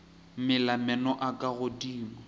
mela meno a ka godimo